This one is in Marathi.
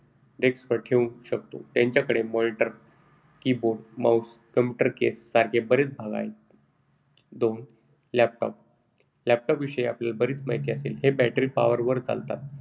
Desk वर ठेवू शकू. त्यांच्याकडे monitor, keyboard, mouse, computer case सारखे बरेच भाग आहेत. दोन. Laptop. Laptop आपल्याला बरीच माहिती असेल. हे battery power वर चालतात,